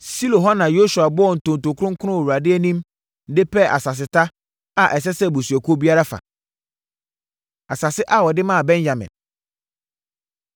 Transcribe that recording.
Silo hɔ na Yosua bɔɔ ntonto kronkron wɔ Awurade anim de pɛɛ asaseta a ɛsɛ sɛ abusuakuo biara fa. Asase A Wɔde Maa Benyamin